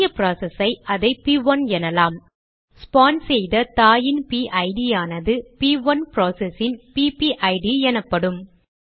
புதிய ப்ராசஸ் ஐ அதை ப்1 எனலாம் ஸ்பான் செய்த தாயின் பிஐடிPIDயானது ப்1 ப்ராசஸ் இன் பிபிஐடிPPID எனப்படும்